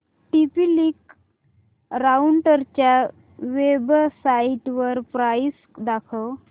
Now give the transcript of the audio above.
TP Link राउटरच्या वेबसाइटवर price दाखव